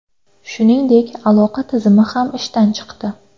Shuningdek, aloqa tizimi ham ishdan chiqdi.